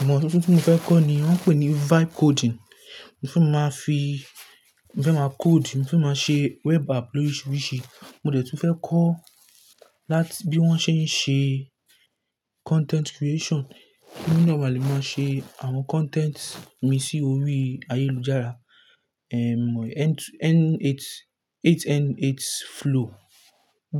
Ìmọ̀ tuntun tí mo fẹ́ kọ́ ni wọ́n ń pè ní vibe coding. Mo fẹ́ máa fi-- mo fẹ́ máa code, mo fẹ́ máa ṣe web app loríṣiríṣi. Mo dẹ̀ tún fẹ́ kọ́ láti bí wọ́n ṣe ń ṣe content creation, kí èmi nà ma lè máa ṣe àwọn content mi sí orí ayélujára. N8 8n8 flow.